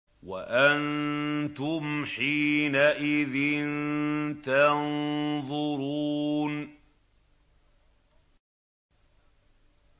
وَأَنتُمْ حِينَئِذٍ تَنظُرُونَ